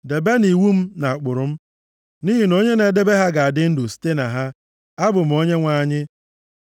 Debenụ iwu m na ụkpụrụ m, nʼihi na onye na-edebe ha ga-adị ndụ + 18:5 \+xt Izk 20:11; Rom 10:5\+xt* site na ha. Abụ m Onyenwe anyị.